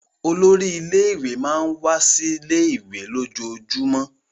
Olórí ilé-ìwé máà ń wá sí ilé-ìwé lójoojúmọ́.